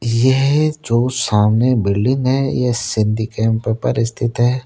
ये जो सामने बिल्डिंग है। यह सिंधी कैंप पर स्थित है।